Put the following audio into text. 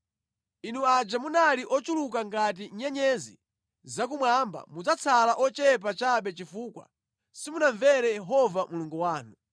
Inu aja munali ochuluka ngati nyenyezi zakumwamba mudzatsala ochepa chabe chifukwa simunamvere Yehova Mulungu wanu.